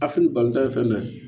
Afini baltɔ ye fɛn dɔ ye